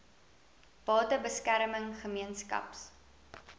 bate beskerming gemeenskaps